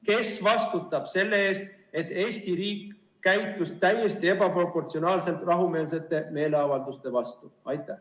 Kes vastutab selle eest, et Eesti riik käitus täiesti ebaproportsionaalselt rahumeelsete meeleavalduste vastu?